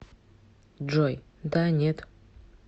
джой да нет